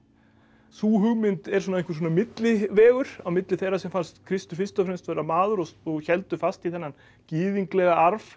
sú hugmynd er einhver millivegur á milli þeirra sem fannst Kristur fyrst og fremst vera maður og héldu fast í þennan gyðinglega arf